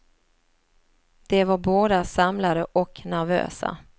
De var båda samlade och nervösa.